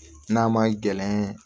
N'a ma gɛlɛn